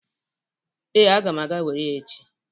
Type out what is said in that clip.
Ee, aga m aga were ya echi.